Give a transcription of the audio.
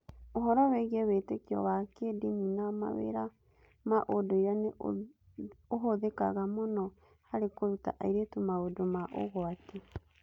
Ũhoro wĩgiĩ wĩtĩkio wa kĩĩndini na mawĩra ma ũndũire nĩ ũhũthĩkaga mũno harĩ kũruta airĩtu maũndũ ma ũgwati.